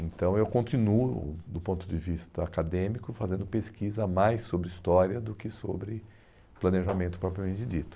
Então, eu continuo, do ponto de vista acadêmico, fazendo pesquisa mais sobre história do que sobre planejamento, propriamente dito.